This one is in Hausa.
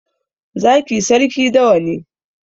Zaki sarki dawa ne